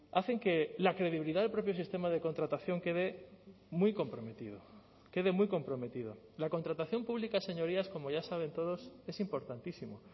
hacen que la credibilidad del propio sistema de contratación quede muy comprometido quede muy comprometido la contratación pública señorías como ya saben todos es importantísimo